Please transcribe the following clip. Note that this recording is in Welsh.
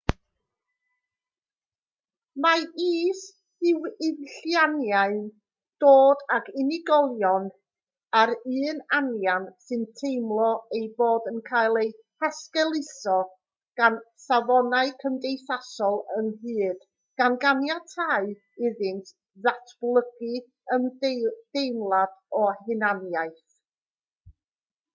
mae is-ddiwylliannau'n dod ag unigolion o'r un anian sy'n teimlo eu bod yn cael eu hesgeuluso gan safonau cymdeithasol ynghyd gan ganiatáu iddynt ddatblygu ymdeimlad o hunaniaeth